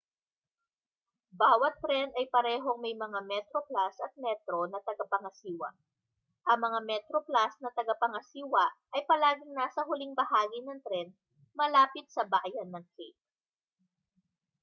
bawat tren ay parehong may mga metroplus at metro na tagapangasiwa ang mga metroplus na tagapangasiwa ay palaging nasa huling bahagi ng tren malapit sa bayan ng cape